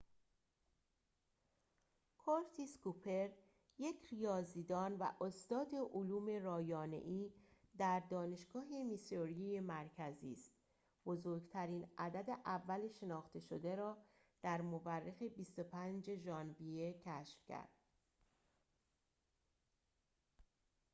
کورتیس کوپر یک ریاضیدان و استاد علوم رایانه‌ای در دانشگاه میسوری مرکزی است بزرگترین عدد اول شناخته شده را در مورخ ۲۵ ژانویه کشف کرد